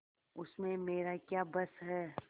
उसमें मेरा क्या बस है